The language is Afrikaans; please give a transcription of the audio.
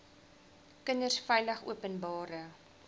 kinders veilig openbare